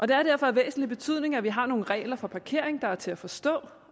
det er derfor af væsentlig betydning at vi har nogle regler for parkering der er til at forstå